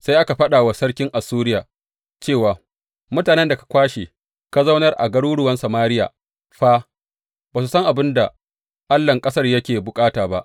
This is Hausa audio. Sai aka faɗa wa sarkin Assuriya cewa, Mutanen da ka kwashe ka zaunar a garuruwan Samariya fa ba su san abin da allahn ƙasar yake bukata ba.